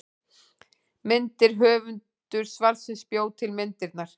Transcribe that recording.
Myndir: Höfundur svarsins bjó til myndirnar.